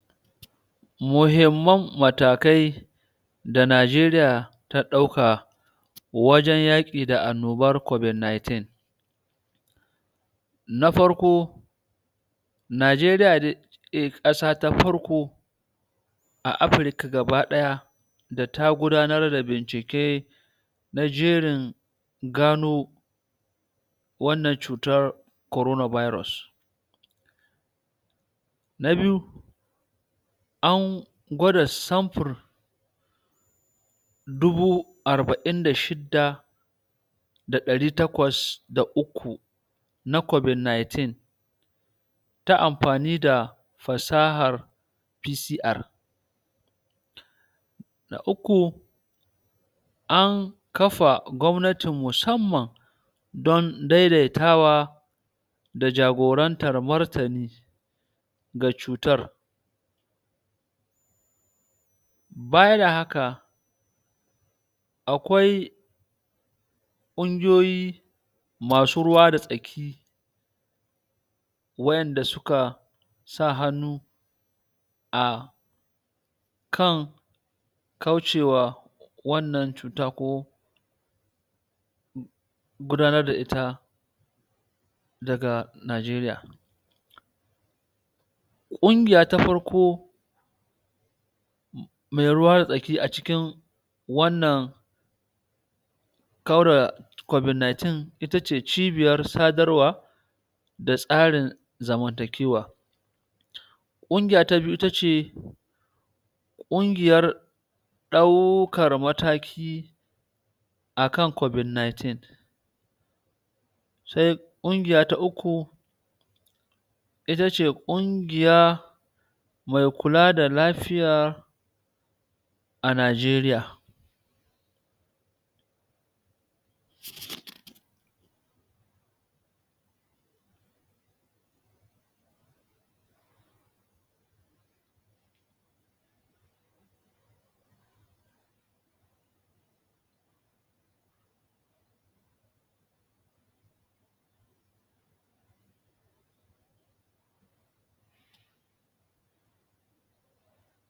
Muhimmu matakai da Najeriya ta ɗauka wajan yaki da annobar covid ninteen na farko Najeriya dai ƙasa ta farko a Africa gabadaya da ta gudanar da bincike na jerin gano wannan cutar corona virus na biyu an gwada samfur dubu arba'in da shida da ɗari takwas da uku na covid ninteen ta amfani da fassahar PCR na uku an kafa gwamnati musamman don daidaitawa da jagoranta da martani ga cutar bayan da haka akwai ƙungiyoyi masu ruwa da tsaki wayanda suka sa hannu a kan kaucewa wannan cuta ko gudanar da ita daga Najeriya ƙungiya ta farko mai ruwan tsaki a cikin wannan kauda covid ninteen itace cibiyar sadarwa da tsarin zamantakewa ƙungiya ta biyu itace ƙungiyar daukar mataki akan covid ninteen se ƙungiya ta uku itace ƙungiya mai kula da lafiyar a Najeriya